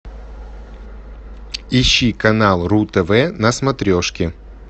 ищи канал ру тв на смотрешке